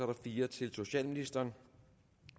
er fire til socialministeren